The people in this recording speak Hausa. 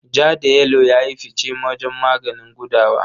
Ja da yelo ya yi fice wajen maganin gudawa.